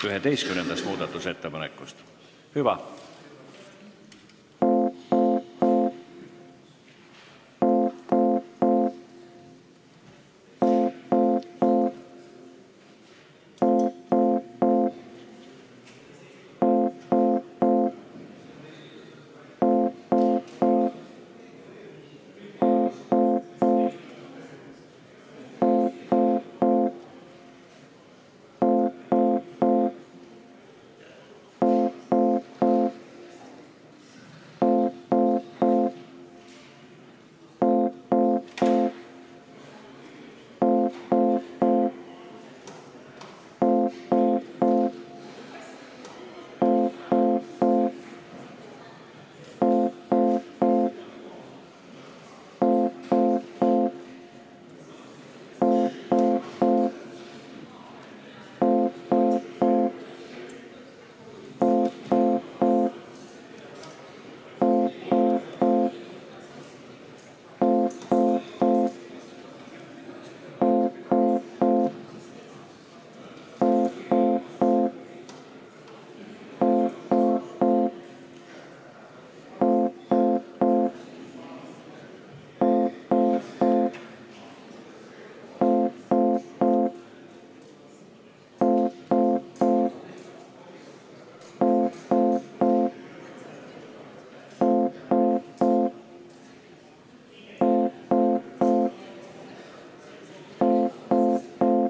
Üheteistkümnendast muudatusettepanekust, hüva.